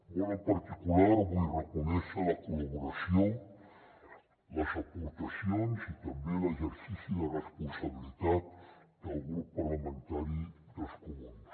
molt en particular vull reconèixer la col·laboració les aportacions i també l’exercici de responsabilitat del grup parlamentari dels comuns